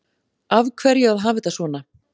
Af hverju að hafa þetta svona